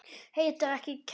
Heitir ekki Kjarrá!